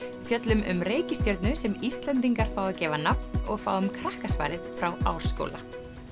fjöllum um reikistjörnu sem Íslendingar fá að gefa nafn og fáum frá Árskóla